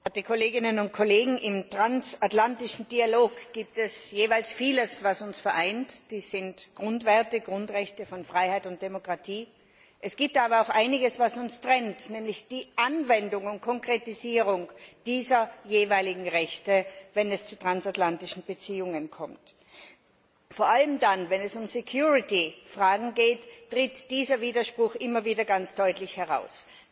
Herr Präsident, werte Kolleginnen und Kollegen! Im transatlantischen Dialog gibt es vieles, was uns vereint dies sind Grundwerte, Grundrechte von Freiheit und Demokratie es gibt aber auch einiges, was uns trennt, nämlich die Anwendung und Konkretisierung dieser jeweiligen Rechte, wenn es zu transatlantischen Beziehungen kommt. Vor allem dann, wenn es um Fragen der Gefahrenabwehr geht, tritt dieser Widerspruch immer wieder ganz deutlich heraus.